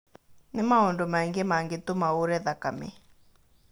Nĩ maũndu maingĩ mangĩtũma uure thakame.